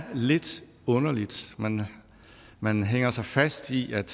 lidt underligt man hænger sig fast i at